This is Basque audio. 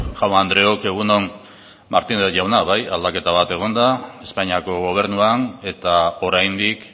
jaun andreok egun on martínez jauna bai aldaketa bat egon da espainiako gobernuan eta oraindik